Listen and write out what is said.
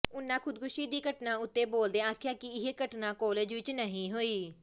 ਉਨ੍ਹਾਂ ਖ਼ੁਦਕੁਸ਼ੀ ਦੀ ਘਟਨਾ ਉੱਤੇ ਬੋਲਦਿਆਂ ਆਖਿਆ ਕਿ ਇਹ ਘਟਨਾ ਕਾਲਜ ਵਿੱਚ ਨਹੀਂ ਹੋਈ